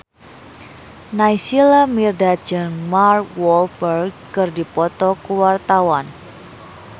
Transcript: Naysila Mirdad jeung Mark Walberg keur dipoto ku wartawan